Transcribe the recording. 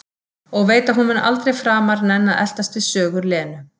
Og veit að hún mun aldrei framar nenna að eltast við sögur Lenu.